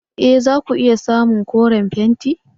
E! za ku iya samun koren fenti.